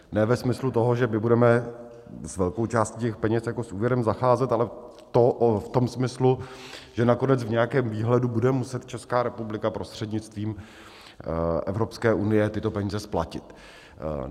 Ne ve smyslu toho, že my budeme s velkou částí těch peněz jako s úvěrem zacházet, ale v tom smyslu, že nakonec v nějakém výhledu bude muset Česká republika prostřednictvím Evropské unie tyto peníze splatit.